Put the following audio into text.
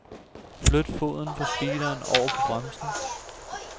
Flyt foden fra speederen over på bremsen.